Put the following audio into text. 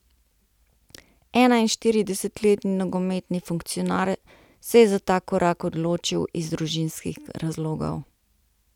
Enainštiridesetletni nogometni funkcionar se je za ta korak odločil iz družinskih razlogov.